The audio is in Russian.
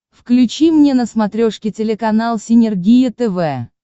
включи мне на смотрешке телеканал синергия тв